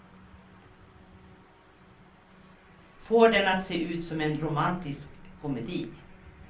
Får den att se ut som en romantisk komedi.